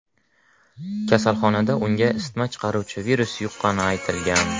Kasalxonada unga isitma chiqaruvchi virus yuqqani aytilgan.